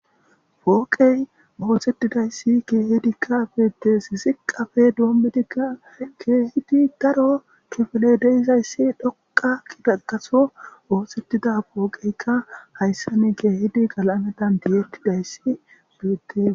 Pooqey ooxettidayssi keehidikka beettes ziqafe doommedikka keehidi garo kifele deizayssi dhoqa kidakaso ooxettida pooqeykka hayssa ni keehidi galaametan tiyettidayssi beette.